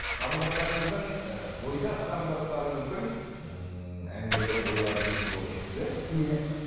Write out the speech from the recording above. қарындастарыңыздың ы бойдақ қарындастарыңыздың ммм әңгімелерін ойларын естіп отырсыз иә иә